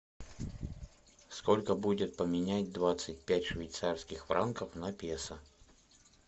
сколько будет поменять двадцать пять швейцарских франков на песо